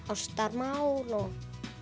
ástarmál